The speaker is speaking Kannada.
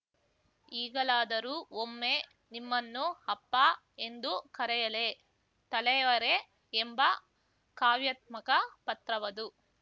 ಈಗಲಾದರೂ ಒಮ್ಮೆ ನಿಮ್ಮನ್ನು ಅಪ್ಪಾ ಎಂದು ಕರೆಯಲೇ ತಲೈವರೇ ಎಂಬ ಕಾವ್ಯಾತ್ಮಕ ಪತ್ರವದು